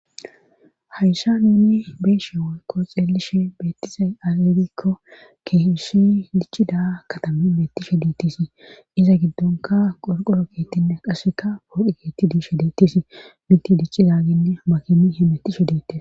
hayssa nunni beeshe wolko xeelishe beettizay agegikko keeshi dichchi da katami bettishe diittisi iza giddonka qorqoro keettinne qasseka boodhi keetti diishshe diettisi minti dicci zaaginne makimi he mettishe deittisi